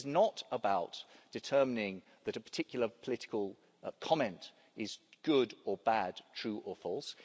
It is not about determining that a particular political comment is good or bad, true or false.